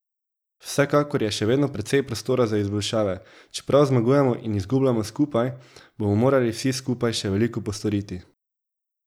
Vsekakor je še vedno precej prostora za izboljšave, čeprav zmagujemo in izgubljamo skupaj, bomo morali vsi skupaj še veliko postoriti.